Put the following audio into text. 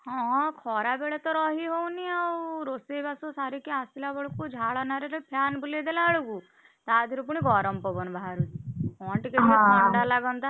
ହଁ ଖରାବେଳେତ ରହି ହଉନି ଆଉ ରୋଷେଇବାସ ସାରିକି ଆସିଲା ବେଳକୁ ଝାଳ ନାଳ ରେ fan ବୁଲେଇ ଦେଲା ବେଳକୁ ତାଧେରୁ ପୁଣି ଗରମ ପବନ ବାହାରୁଛି।